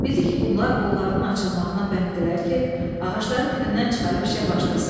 Bildi ki, bunlar qollarının açılmağına bənddilər ki, ağacları dibindən çıxarıb işə başlasınlar.